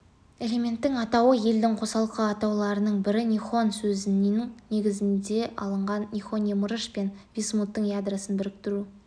элементтің атауы елдің қосалқы атауларының бірі нихон сөзінің негізінде алынған нихоний мырыш пен висмуттың ядросын біріктіру